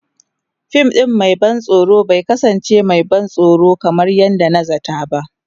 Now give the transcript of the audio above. Fim ɗin mai ban tsoro bai kasance mai ban tsoro kamar yadda na zata ba.